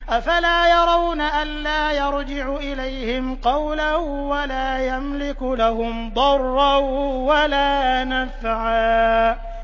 أَفَلَا يَرَوْنَ أَلَّا يَرْجِعُ إِلَيْهِمْ قَوْلًا وَلَا يَمْلِكُ لَهُمْ ضَرًّا وَلَا نَفْعًا